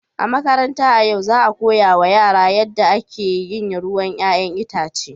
A makaranta a yau, za a koya wa yara yadda ake yin ruwan 'ya'yan itace.